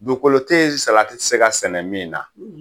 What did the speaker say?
Dugukolo tɛ yen salati tɛ se ka sɛnɛ min na